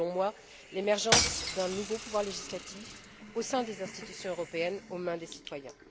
C'est, selon moi, l'émergence d'un nouveau pouvoir législatif au sein des institutions européennes placé entre les mains des citoyens.